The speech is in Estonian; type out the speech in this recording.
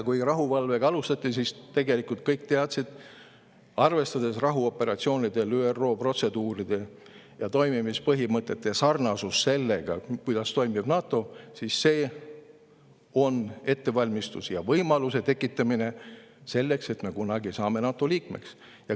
Kui rahuvalvega alustati, siis tegelikult kõik teadsid: arvestades ÜRO protseduure ja toimimispõhimõtteid rahuoperatsioonidel ning sarnasust sellega, kuidas toimib NATO, on see ettevalmistus ja võimaluse tekitamine selleks, et kunagi me saame NATO liikmeks.